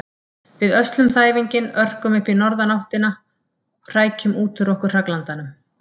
Við öslum þæfinginn, örkum upp í norðanáttina, hrækjum út úr okkur hraglandanum.